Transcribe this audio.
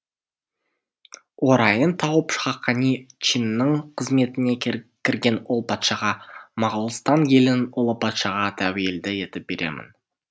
орайын тауып хақани чиннің қызметіне кірген ол патшаға моғолстан елін ұлы патшаға тәуелді етіп беремін